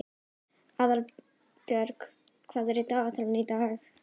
Aðalbjört, hvað er í dagatalinu í dag?